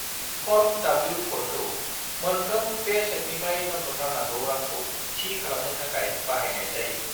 Form W -4 खौ मोनफ्रोम पेचेकनिफ्राय दोन्थ'थारनांगौ रांखौ थि खालामनो थाखाय बाहायनाय जायो।